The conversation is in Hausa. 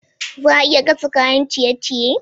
Za a iya gasa kayan ciye-ciye?